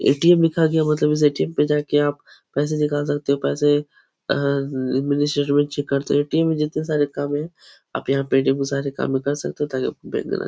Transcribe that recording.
ATM. लिखा गया मतलब इस ए.टी.एम. पे जाके आप पैसे निकाल सकते हो। पैसे अ में चेक करते हैं। ए.टी.एम. में जितने सारे काम हैं आप यहाँ ए.टी.एम. में सारे काम कर सकते हो ताकि बैंक ना --